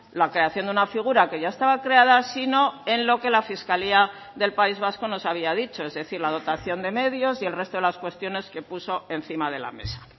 la creación de una figura que ya estaba creada sino en lo que la fiscalía del país vasco nos había dicho es decir la dotación de medios y el resto de las cuestiones que puso encima de la mesa